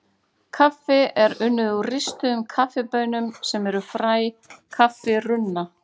Kaffi er unnið úr ristuðum kaffibaunum sem eru fræ kaffirunna.